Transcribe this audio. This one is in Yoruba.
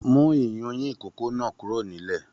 Mú iyùnyin ikòkò náà kúrò nílẹ̀!